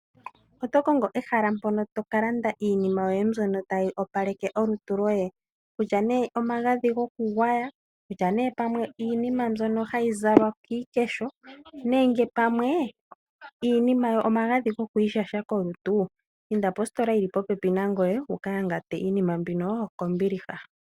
Oto kongo ehala mpoka toka landa iinima mbyoka tayi opaleke olutu lwoye kutya ne omagadhi gokugwaya, kutya ne iinima mbyono hayi zalwa kiikesho nenge pamwe omagadhi gokwiisha kolutu inda positola yili popepi nangoye wu ka yangate iinima mbino kombiliha.